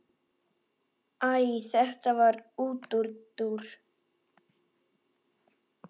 Æ þetta var útúrdúr.